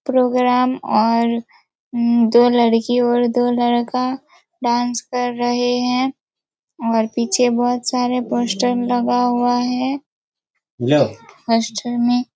programme और उम् दो लड़की और दो लड़का डांस कर रहे हैं और पीछे बहुत सारे पोस्टर लगा हुआ हैं होस्टल में --